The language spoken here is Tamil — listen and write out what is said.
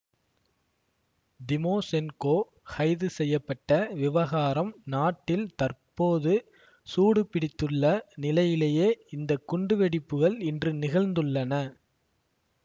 திமோசென்கோ கைது செய்ய பட்ட விவகாரம் நாட்டில் தற்போது சூடு பிடித்துள்ள நிலையிலேயே இந்த குண்டுவெடிப்புகள் இன்று நிகழ்ந்துள்ளன